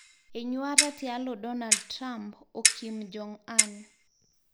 Enyuata tialo Donald Trump o Kim Jong Un